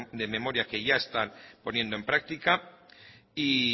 de memoria que ya están poniendo en práctica y